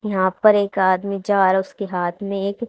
यहां पर एक आदमी जा रा उसके हाथ में एक--